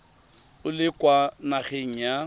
o le kwa nageng ya